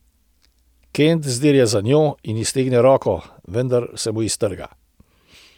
Kent zdirja za njo in iztegne roko, vendar se mu iztrga.